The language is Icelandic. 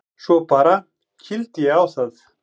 Svo bara. kýldi ég á það.